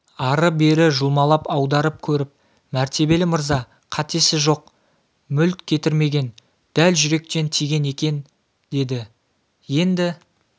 ары-бері жұлмалап аударып көріп мәртебелі мырза қатесі жоқ мүлт кетірмеген дәл жүректен тиген екен деді енді